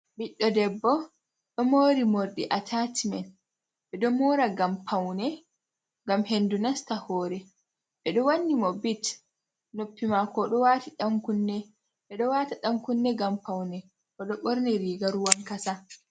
Ɓiɗɗo debbo ɗo mori morɗi atacimen, ɓeɗo mora ngam paune ngam hendu nasta hore, ɓeɗo wanni mo bit, noppi mako ɗo wata ɗan kunne ngam paune. oɗo ɓorni riga ruwankasa.